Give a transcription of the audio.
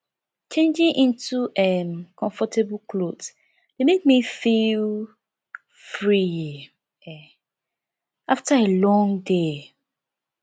changing into um comfortable clothes dey make me feel free um after a long day